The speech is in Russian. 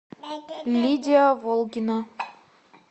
лидия волгина